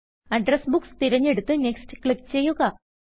address books തിരഞ്ഞെടുത്ത് next click ചെയ്യുക